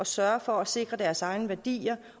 sørge for at sikre deres egne værdier